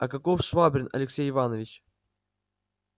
а каков швабрин алексей иваныч